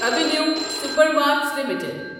avenue Supermarts limited